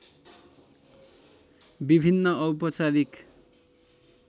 विभिन्न औपचारिक